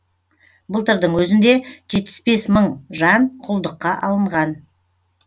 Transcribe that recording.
былтырдың өзінде жетпіс бес мың жан құлдыққа алынған